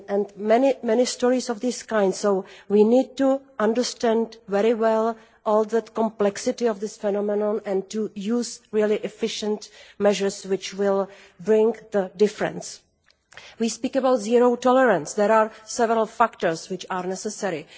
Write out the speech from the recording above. There are many stories of this kind, so we need to understand very well the complexity of this phenomenon and to use really efficient measures which will bring about a difference. We speak about zero tolerance' there are several factors which are necessary.